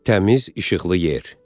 Təmiz işıqlı yer.